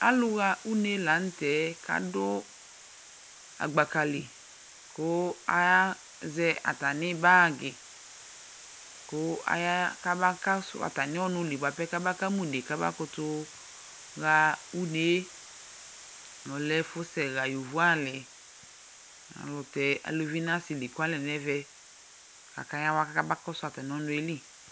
Alʋɣa une la nʋtɛ adʋ agbaka li, kʋ azɛ atamɩ bagɩ kʋ aya kama kɔsʋ atamɩ ɔnʋɛ li bʋa pɛ kama une bɩ k'ama kʋtʋ ɣa unee; ɔlɛ ɛfʋsɛ ɣa yovoalɩ Ɔlʋkɛ ɔsɩ n'uluvi leklualɛ n'ɛmɛ, k'akayawa k'ama kɔsʋ atamɩ ɔnʋɛ li